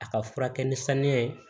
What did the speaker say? A ka furakɛ ni saniya ye